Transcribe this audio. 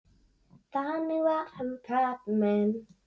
Þannig var hann pabbi minn.